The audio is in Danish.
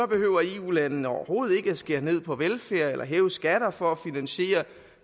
behøver eu landene overhovedet ikke at skære ned på velfærd eller at hæve skatter for at finansiere